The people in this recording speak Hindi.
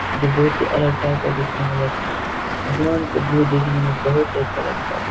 जो बहुत ही अलग टाइप का दिखने में लगते हैं आसमान का भ्यू देखने में बहुत ही अच्छा लगता है।